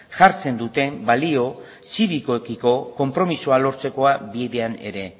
jartzen duten balio zirikoekiko konpromisoa lortzekoa bidean ere